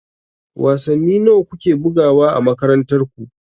Wasanni nawa ku ke bugawa a makarantar ku?